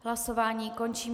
Hlasování končím.